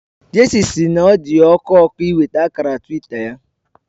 Jesse si n'odiya oku oku inweta akara twita ya